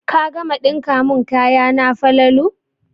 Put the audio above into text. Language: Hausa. Ka gama ɗinka mun kayana Falalu